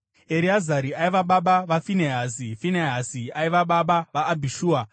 Ereazari aiva baba vaFinehasi, Finehasi baba vaAbhishua,